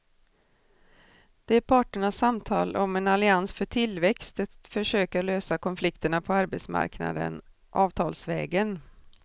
Det är parternas samtal om en allians för tillväxt, ett försök att lösa konflikterna på arbetsmarknaden avtalsvägen.